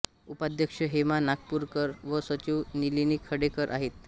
उपाध्यक्ष हेमा नागपूरकर व सचिव नलिनी खडेकर आहेत